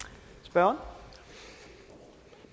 grad